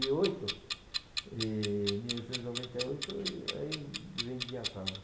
e oito, em mil novecentos e noventa e oito e aí vendi a casa.